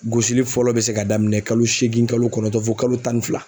Gosili fɔlɔ be se ka daminɛ kalo seegin kalo kɔnɔntɔn fo kalo tan ni fila.